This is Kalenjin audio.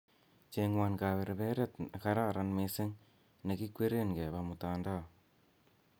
cheng'won kaberberet negaren missing ne kikweren keba mtamdao